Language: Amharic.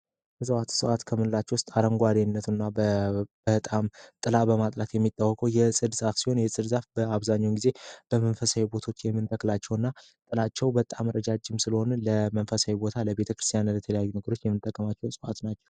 በሰዋዋት ሰዋዓት ከምንላቸው ውስጥ አረንጓዴነቱ እና በጣም ጥላ በማጥላት የሚጣወኮ የጽድ ሳክሲሆን የጽርዛፍ በአብዛኙን ጊዜ በመንፈሳይ ቦቶች የሚንተክላቸው እና ጥላቸው በጣም ረጃጅም ስለሆን ለመንፈሳይ ቦታ ለቤተ ክርስቲያን እለተለያዩ ንግሮች የምንጠከማቸው ሰዋዓት ናቸው